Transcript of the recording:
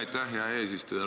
Aitäh, hea eesistuja!